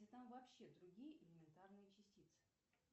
да там вообще другие элементарные частицы